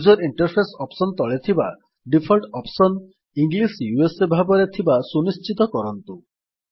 user interface option ତଳେ ଥିବା default option English USA ଭାବରେ ଥିବା ସୁନିଶ୍ଚିତ କରନ୍ତୁ